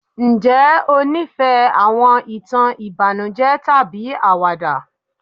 njé o nifẹ àwọn ìtàn ìbànújẹ tàbí àwàdà?